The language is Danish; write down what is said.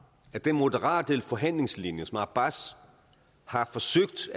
at den moderate forhandlingslinje som abbas har forsøgt